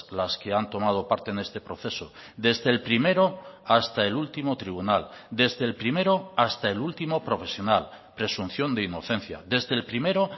las que han tomado parte en este proceso desde el primero hasta el último tribunal desde el primero hasta el último profesional presunción de inocencia desde el primero